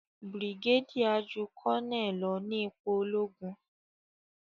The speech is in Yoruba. brigadier jù Colonel ló ní ipò ologun.